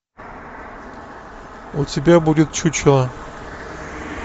у тебя будет чучело